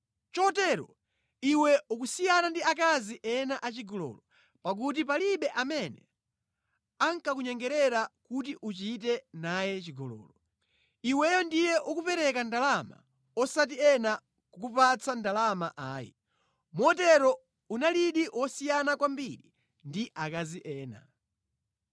Chotero iwe ukusiyana ndi akazi ena achigololo, pakuti palibe amene ankakunyengerera kuti uchite naye chigololo. Iweyo ndiye unkapereka ndalama osati ena kukupatsa ndalama ayi. Motero unalidi wosiyana kwambiri ndi akazi ena.